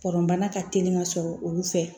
bana ka teli ka sɔrɔ olu fɛ